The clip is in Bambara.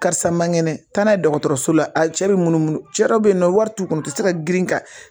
Karisa man kɛnɛ taa n'a ye dɔgɔtɔrɔso la cɛ bɛ munumunu cɛ dɔ bɛ yen nɔ wari t'u kun u tɛ se ka girin ka